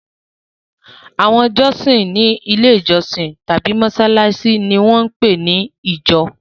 Àwọn jọ́sìn ní Ilé-ìjọsìn tàbí ní mọ́ṣáláṣí mi wọ́n ń pè ní ìjọ.